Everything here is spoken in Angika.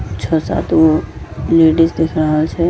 छ सात गो लेडिज दिख रहल छै।